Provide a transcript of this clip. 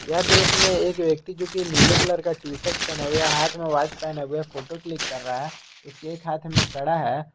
यह दृश्य में एक व्यक्ति जो की नीले कलर का टी_शर्ट पहने हुए हाथ में वॉच पहने हुए फोटो क्लिक कर रहा है उसके एक हाथ में कड़ा है।